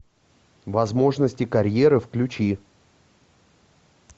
возможности карьеры включи